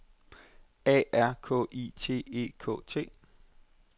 A R K I T E K T